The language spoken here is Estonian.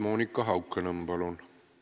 Monika Haukanõmm, palun!